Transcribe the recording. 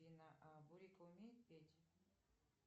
а бурик умеет петь